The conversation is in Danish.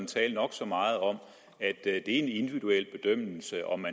tale nok så meget om at det er en individuel bedømmelse om